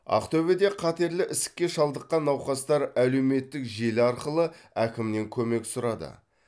ақтөбеде қатерлі ісікке шалдыққан науқастар әлеуметтік желі арқылы әкімнен көмек сұрады